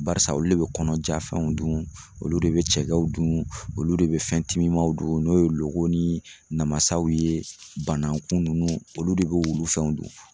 Barisa olu de bɛ kɔnɔjafɛnw dun olu de bɛ cɛkɛw dun olu de bɛ fɛn timimanw dun n'o ye logo ni namasaw ye banakun ninnu olu de b'olu fɛnw dun